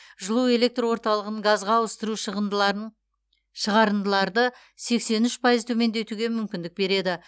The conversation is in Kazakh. жылу электр орталығын газға ауыстыру шығарындыларды сексен үш пайыз төмендетуге мүмкіндік береді